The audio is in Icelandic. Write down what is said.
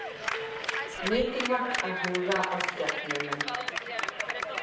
Mikilvægt að huga að skepnunum